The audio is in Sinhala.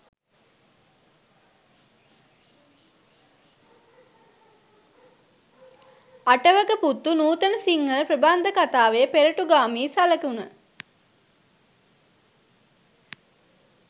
අටවක පුත්තු නූතන සිංහල ප්‍රබන්ධකතාවේ පෙරටුගාමී සලකුණ